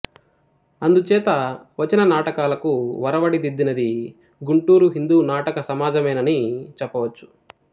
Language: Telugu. అందుచేత వచన నాటకాలకు వరవడి దిద్దినది గుంటూరు హిందూ నాటక సమాజమేనని చెప్పవచ్చు